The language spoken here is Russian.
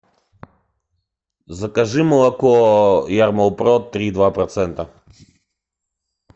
закажи молоко ярмолпрод три и два процента